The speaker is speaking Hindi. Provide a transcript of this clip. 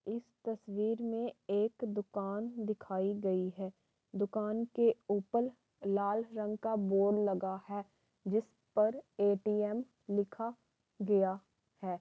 इस तस्वीर में एक दुकान की दिखाई गई है। दुकान के ऊपर लाल रंग का बोर्ड लगा है जिसपर ए.टी.एम. लिखा गया है।